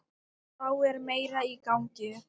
Þá er meira í gangi.